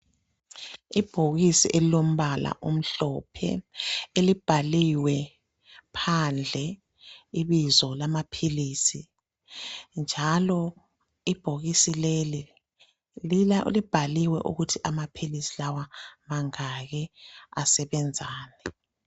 Ibhokisi elilombala omhlophe elibhaliwe phandle ibizo lamaphilisi njalo ibhokisi leli libhaliwe ukuthi amaphilisi lawa mangaki, asebenzani.